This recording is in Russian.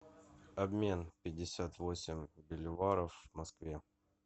обмен пятьдесят восемь боливаров в москве